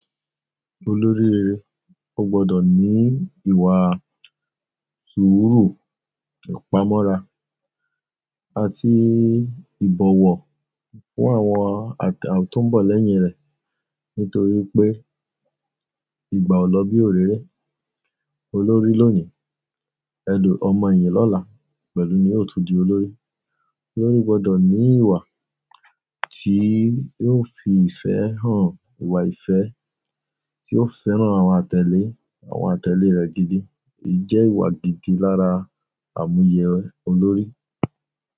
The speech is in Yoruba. Olórí rere, ó gbọdọ̀ ní ìwà sùúrù, ìpamọ́ra àti ìbọ̀wọ̀ fún àwọn tó ń bọ̀ lẹ́yìn rẹ̀. Nítorí pé, "Ìgbà ò lọ bí òréré, olórí lónìí, ẹlù ọmọ ẹ̀yìn lọ́la pẹ̀lú ni óò tún di olórí." Olórí gbọdọ̀ ní ìwà tí yóò fi ìfẹ́ hàn, ìwà ìfẹ́ tí óó fẹ́ràn àwọn àtẹ̀lé, àwọn àtẹ̀lé rẹ̀ gidi. Ìjẹ ìwà gidi lára àmúyẹ olórí.